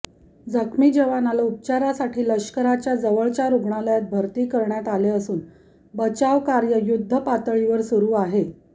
जखमी जवानाला उपचारासाठी लष्कराच्या जवळच्या रुग्णालयात भरती करण्यात आले असून बचावकार्य युद्धपातळीवर सुरू आहे